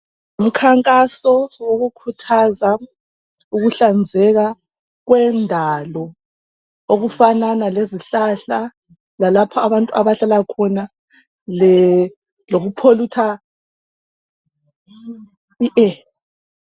Umkhankaso wokukhuthaza ukuhlanzeka kwendalo okufanana lezihlahla lalapho abantu abahlala khona.